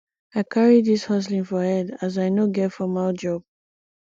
i carry dis hustling for head as i no get formal job